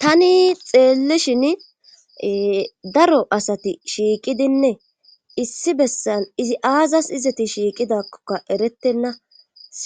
Tani xeellishin daro asati shiiqidinne issi bessan izi aazas izeti shiiqidakkoka eretenna